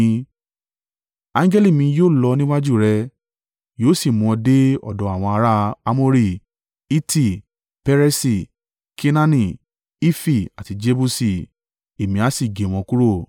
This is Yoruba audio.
Angẹli mi yóò lọ níwájú rẹ, yóò sì mú ọ dé ọ̀dọ̀ àwọn ará: Amori, Hiti, Peresi, Kenaani, Hifi àti Jebusi, èmi a sì gé wọn kúrò.